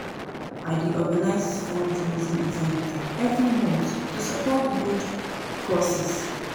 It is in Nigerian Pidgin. I dey organize fundraising events every month to support good causes.